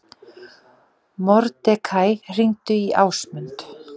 Mordekaí, hringdu í Ásmund.